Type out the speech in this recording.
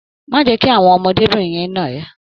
Má jẹ́ kí àwọn ọmọdébìnrin yẹn nà ẹ́.